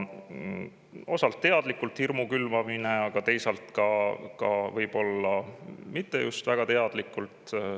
Osalt on teadlik hirmu külvamine, aga teisalt võib-olla mitte just väga teadlik.